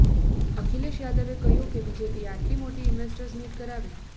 અખિલેશ યાદવે કહ્યું કે બીજેપીએ આટલી મોટી ઈન્વેસ્ટર્સ મીટ કરાવી